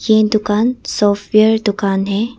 ये दुकान सॉफ्टवेयर दुकान है।